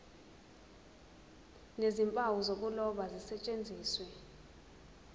nezimpawu zokuloba zisetshenziswe